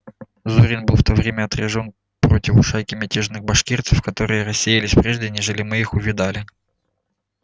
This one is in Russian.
зурин был в то время отряжён противу шайки мятежных башкирцев которые рассеялись прежде нежели мы их увидали